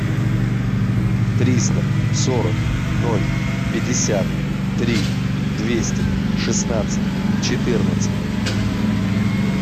триста сорок ноль пятьдесят три двести шестнадцать четырнадцать